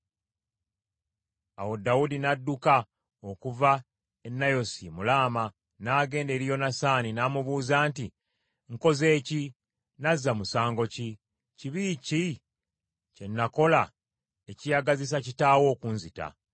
Awo Dawudi n’adduka okuva e Nayosi mu Laama n’agenda eri Yonasaani, n’amubuuza nti, “Nkoze ki? Nazza musango ki? Kibi ki kye nakola ekiyagazisa kitaawo okunzita?”